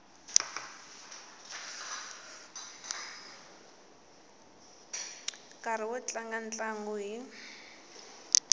nkarhi wo tlanga ntlangu hi